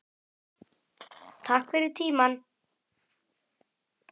Takk fyrir tímann.